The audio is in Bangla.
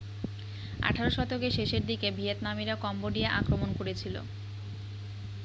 আঠেরো শতকের শেষের দিকে ভিয়েতনামিরা কম্বোডিয়া আক্রমণ করেছিল